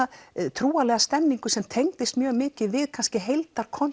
trúarlega stemningu sem tengdist mjög mikið við